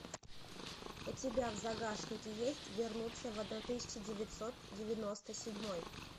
у тебя в загашнике есть вернуться в одна тысяча девятьсот девяносто седьмой